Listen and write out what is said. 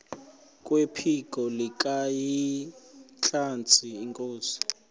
kwephiko likahintsathi inkosi